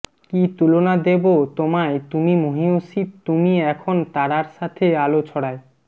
কী তুলনা দেব তোমায়তুমি মহীয়সীতুমি এখন তারার সাথেআলো ছড়ায়